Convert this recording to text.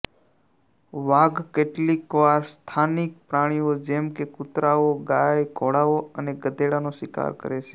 વાઘ કેટલીકવાર સ્થાનિક પ્રાણીઓ જેમ કે કૂતરાઓ ગાય ઘોડાઓ અને ગધેડાનો શિકાર કરે છે